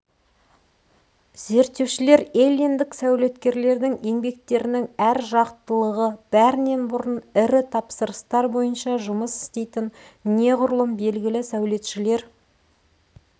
зерттеушілер эллиндік сәулеткерлердің еңбектерінің әр жақтылығы бәрінен бұрын ірі тапсырыстар бойынша жұмыс істейтін неғұрлым белгілі сәулетшілер